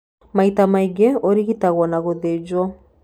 Maita maingĩ ũrigitagwo na gũthĩnjwo.